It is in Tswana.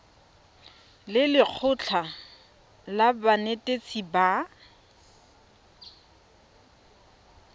le lekgotlha la banetetshi ba